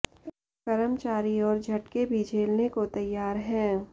कर्मचारी और झटके भी झेलने को तैयार हैं